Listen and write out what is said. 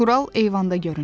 Tural eyvanda göründü.